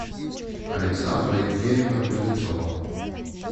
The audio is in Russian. александра евгеньевна кузнецова